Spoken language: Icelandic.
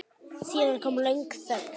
Síðan kom löng þögn.